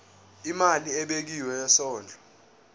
imali ebekiwe yesondlo